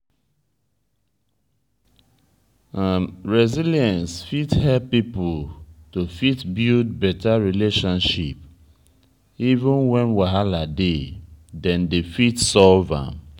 resilience fit help pipo to fit build better relationship even when wahala dey dem dey fit solve am